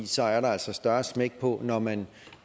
så er der altså større smæk på når man